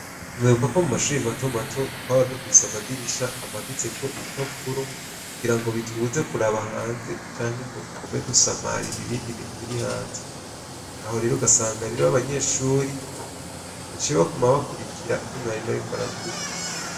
Muribuka ko mumashure matomato twaba dufise amadirisha amanitseho ibipapuro kugira ngo bitubuze kurabe hanze twirinde gusamarira ibindi bintu biri hanze aho rero ugasanga abanyeshure baciye baguma bakurikira ivyo mwarimu ariko aravuga.